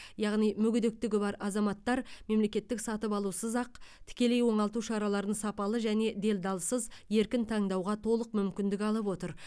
яғни мүгедектігі бар азаматтар мемлекеттік сатып алусыз ақ тікелей оңалту шараларын сапалы және делдалсыз еркін таңдауға толық мүмкіндік алып отыр